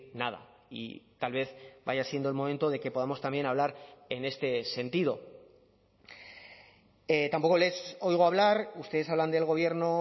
nada y tal vez vaya siendo el momento de que podamos también hablar en este sentido tampoco les oigo hablar ustedes hablan del gobierno